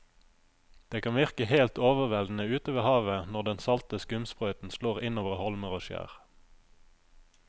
Det kan virke helt overveldende ute ved havet når den salte skumsprøyten slår innover holmer og skjær.